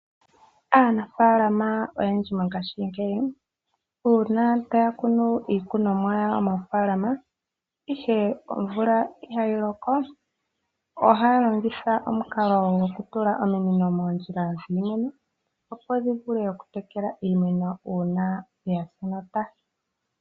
Aanafaalama oyendji mongashingeyi uuna taya kunu iikunomwa yawo moofaalama ndele omvula itayi loko, ohaya longitha omukalo gokutula ominino moondjila dhiimeno opo dhi vule oku tekela iimeno uuna yasa enota.